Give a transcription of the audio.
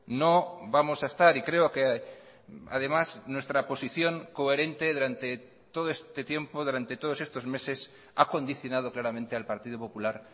no vamos a estar y creo que además nuestra posición coherente durante todo este tiempo durante todos estos meses ha condicionado claramente al partido popular